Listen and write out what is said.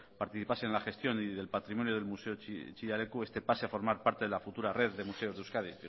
participasen en la gestión y del patrimonio del museo chillida leku este pase a formar parte de la futura red de museos de euskadi